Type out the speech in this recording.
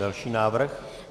Další návrh.